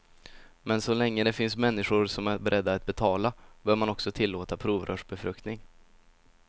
Men så länge det finns människor som är beredda att betala, bör man också tillåta provrörsbefruktning.